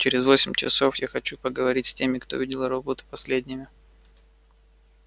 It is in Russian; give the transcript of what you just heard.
через восемь часов я хочу поговорить с теми кто видел робота последними